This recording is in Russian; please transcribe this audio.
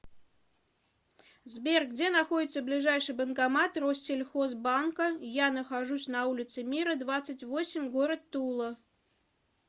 сбер где находится ближайший банкомат россельхоз банка я нахожусь на улице мира двадцать восемь город тула